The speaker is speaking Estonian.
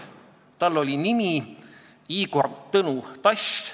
Tema nimi oli Igor Tõnu Tass.